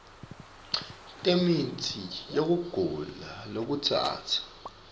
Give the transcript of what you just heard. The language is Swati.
temitsi yekugula lokutsatsa